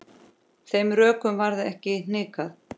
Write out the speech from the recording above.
Þeim rökum varð ekki hnikað.